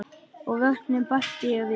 Og vötnin bætti ég við.